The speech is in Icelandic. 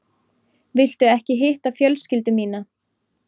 Viltu ekki hitta fjölskyldu mína?